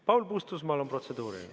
Paul Puustusmaal on protseduuriline.